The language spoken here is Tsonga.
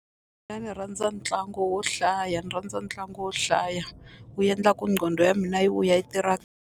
Mina ndzi rhandza ntlangu wo hlaya ndzi rhandza ntlangu wo hlaya wu endlaku nqondo ya mina yi vuya yi tirha.